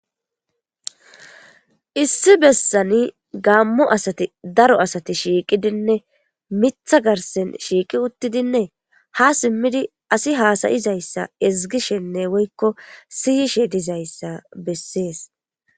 issi bessani gammo asati daro asati shiiqidinne mitha garsen shiiqi uttidinne ha simmidi asi haasayizayssa izgishenne woykko siyishe dizayssa bessees